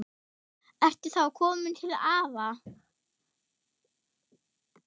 Ertu þá kominn til afa?